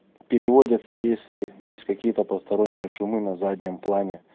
переводится если есть какие-то посторонние шумы на заднем плане